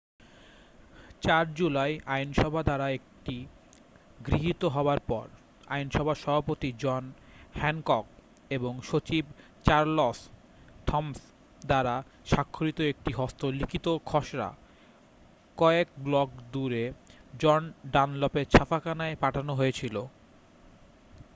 4 July আইনসভা দ্বারা এটি গৃহীত হবার পর আইনসভার সভাপতি জন হ্যানকক এবং সচিব চারলস থমসন দ্বারা স্বাক্ষরিত একটি হস্তলিখিত খসড়া কয়েক ব্লক দূরে জন ডানলপের ছাপাখানায় পাঠানো হয়েছিল